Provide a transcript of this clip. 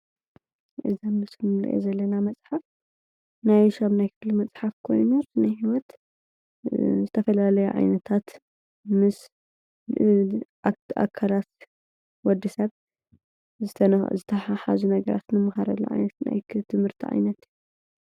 እዚ ኣብ ምስሊ ንሪኦ ዘለና መፅሓፍ ናይ 8ይ ክፍሊ መፅሓፍ ኮይኑ ናይ ህይወት ዝተፈላለያ ዓይነታት ምስ ኣብቲ ኣካላት ወዲ ሰብ ዝተተሓሓዙ ነገራት ንመሃረሉ ናይ ትምህርቲ ዓይነት ።